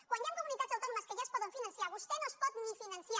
quan hi han comunitats autònomes que ja es poden finançar vostè no es pot ni finançar